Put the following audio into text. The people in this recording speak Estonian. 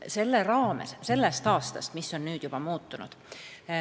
Mis on juba sellest aastast muutunud?